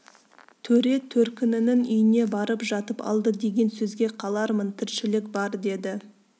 төре төркінінің үйіне барып жатып алды деген сөзге қалармын тіршілік бар деді